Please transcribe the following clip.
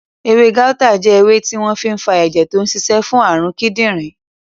Ewé gáútà jẹ́ ewé tí wọ́n fi n fa ẹ̀jẹ̀ tó n ṣiṣẹ́ fún àrùn kídìnrín